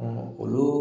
olu